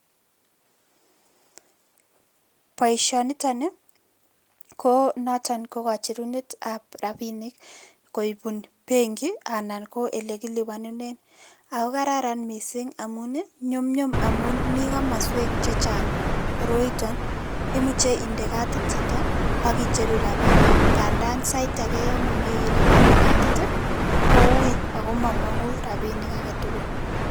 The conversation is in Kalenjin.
Boisonitoni, ko noton, koba cherundet ab rabinik koibun benki, anan ko ele kelipanenen ako kararan mising amun nyumnyum amun mii komaswek che chang' koroiton. Imuche inde kadit chito aki cheru rabinik, ng'a ndan sait age mami rabinik kadit, ko ui. Ako mamang'un rabinik age tugul